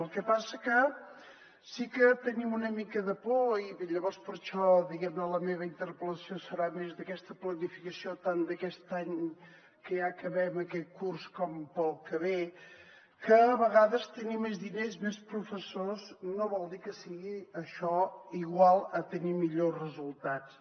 el que passa que sí que tenim una mica de por i llavors per això la meva interpel·lació serà més d’aquesta planificació tant d’aquest any que ja acabem aquest curs com per al que ve que a vegades tenir més diners més professors no vol dir que sigui això igual a tenir millors resultats